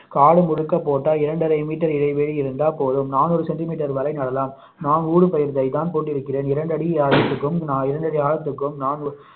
காடு முழுக்க போட்டா இரண்டரை மீட்டர் இடைவெளி இருந்தா போதும் நாநூறு சென்டிமீட்டர் வரை நடலாம் நான் ஊடுபயிர் வகை தான் போட்டு இருக்கிறேன் இரண்டடி ஆழத்திற்கும் இரண்டடி ஆழத்திற்கும்